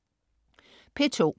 P2: